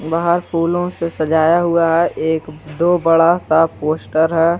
बहार फूलों से सजाया हुआ है एक दो बड़ा सा पोस्टर है।